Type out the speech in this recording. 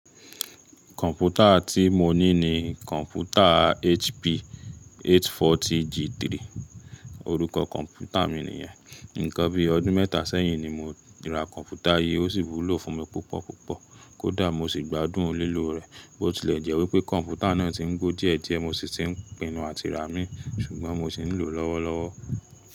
Kọ̀npútà tí mo ní ni kọ̀mpútà HP 840 G3, orúkọ kọ̀mpútà mi nìyẹn. Nǹkan bí ọdún mẹ́ta sẹ́yìn ni mo ra kọ̀mpútà yìí, ó sì wúlò fún mi púpọ̀ púpọ̀. Kódà mo sì gbádùn lílọ rẹ̀, bó ti lè jẹ́ wípé kọ̀mpútà náà tí ń gbó díẹ̀ díẹ̀, mo sì ti ń pinnu àti ra mìi, ṣùgbọ́n mo sì ń lò lọ́wọ́lọ́wọ́.